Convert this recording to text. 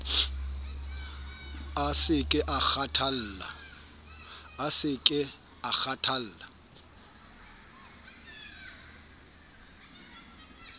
a se ke a kgathalla